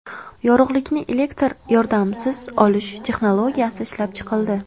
Yorug‘likni elektr yordamisiz olish texnologiyasi ishlab chiqildi.